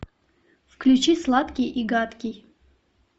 включи сладкий и гадкий